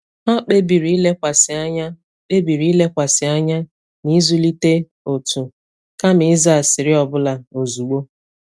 Hà kpebìrì ilekwàsị anya kpebìrì ilekwàsị anya n’ịzụlite òtù, kama ịza asịrị ọ bụla ozugbo.